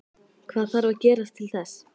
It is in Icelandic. Hvað þarf að gerast til þess?